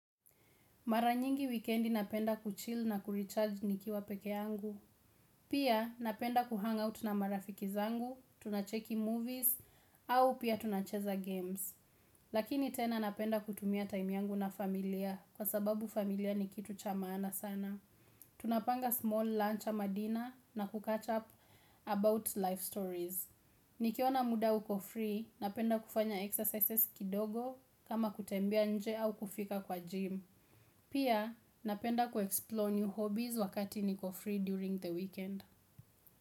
Maranyingi weekendi napenda kuchil na kurecharge nikiwa peke yangu. Pia napenda kuhangout na marafiki zangu, tunacheki movies, au pia tunacheza games. Lakini tena napenda kutumia time yangu na familia kwa sababu familia ni kitu cha maana sana. Tunapanga small lunch ama dina na kukachap about life stories Nikiona muda uko free napenda kufanya exercises kidogo kama kutembea nje au kufika kwa gym Pia napenda kuexplore new hobbies wakati niko free during the weekend.